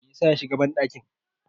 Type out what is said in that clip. me yasa ya shiga bandakin?